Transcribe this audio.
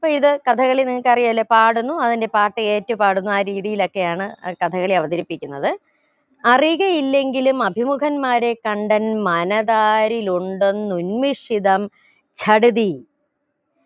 ഇപ്പൊ ഇത് കഥകളി നിങ്ങക്കറിയാലോ പാടുന്നു അതിന്റെ പാട്ട് ഏറ്റ് പാടുന്നു ആ രീതിയിലൊക്കെ ആണ് ആ കഥകളി അവതരിപ്പിക്കുന്നത് അറിയുക ഇല്ലെങ്കിലും അഭിമുഖന്മാരെ കണ്ടെന്മനതാരിൽ ഉണ്ടെന്നുശ്ചിതം